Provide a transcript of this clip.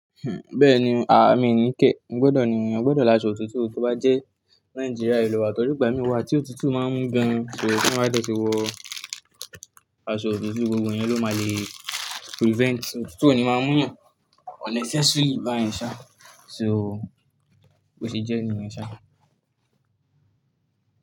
Bẹ́ẹ̀ni, aà mi ní kẹ́. Mo gbọdọ̀ ni eyan, gbọdọ̀ l'áṣọ̀ otutu tó bá jẹ́ Nigeria ló wa tori igba mí wà tí òtútù máa ń mú gan. So tí wọ́n bá dẹ̀tì wọ aṣọ otutu, gbogbo yẹn ló máa le prevent. Otutu o ni máa ń mú yàn unnecessarily báyẹn ṣá. So bò ṣe jẹ́ ènìyàn ṣá.